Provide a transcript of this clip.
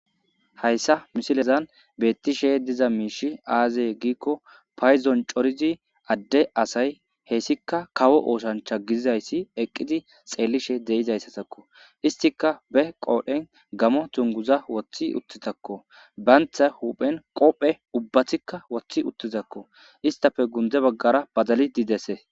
hayssa misilezan beettishe diza miishi aazee giikko payzon corizi adde asay heessika kawo ooshancha gidizayssi eqqidi xeellishe deizayssatakko istika be qoodhen gamo tunguza woththi uttitakko baantha huphen qophe ubbathikka woththi uttizakko istafe gundze baggara badali didese